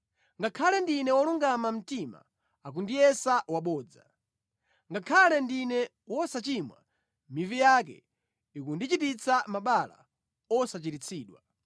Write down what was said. Ngakhale ndine wolungama mtima, akundiyesa wabodza; ngakhale ndine wosachimwa, mivi yake ikundichititsa mabala osachiritsidwa.’